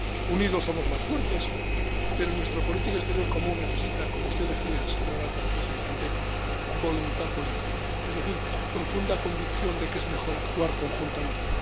Unidos somos más fuertes, pero nuestra política exterior común necesita —como usted decía, señora alta representante— voluntad política, es decir, profunda convicción de que es mejor actuar conjuntamente.